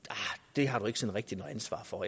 det har du ikke rigtig noget ansvar for